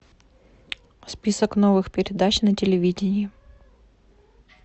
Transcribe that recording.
список новых передач на телевидение